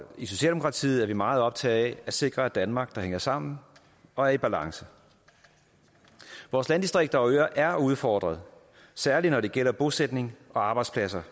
i socialdemokratiet er vi meget optaget af at sikre et danmark der hænger sammen og er i balance vores landdistrikter og øer er udfordret særlig når det gælder bosætning og arbejdspladser